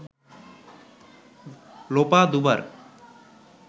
লোপা দুবার